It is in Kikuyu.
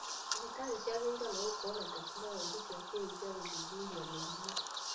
Thibitari nĩciagĩrĩirwo nĩ gũkorwo na teknorojĩ cia kĩrĩu cia gũthuthuria mĩrimũ